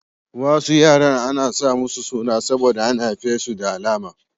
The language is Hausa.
Wasu yaran ana sa musu suna saboda an haife su da alama.